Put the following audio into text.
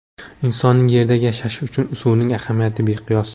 Insonning Yerda yashashi uchun suvning ahamiyati beqiyos.